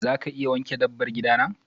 za ka iya wanke dabbar gida na?